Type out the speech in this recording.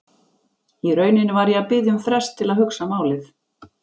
Í rauninni var ég að biðja um frest til að hugsa málið.